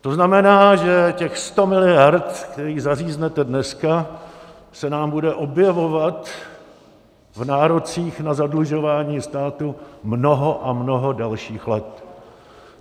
To znamená, že těch 100 miliard, které zaříznete dneska, se nám bude objevovat v nárocích na zadlužování státu mnoho a mnoho dalších let.